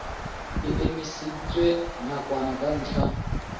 e emisitswe nakwana ka ntlha